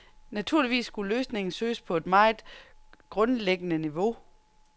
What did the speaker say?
Naturligvis skulle løsningen søges på et meget grundlæggende niveau.